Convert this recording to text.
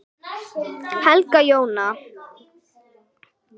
Helga Jóna.